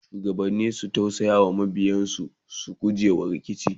shugabanni su tausaya wa mabiyansu su gujewa rikici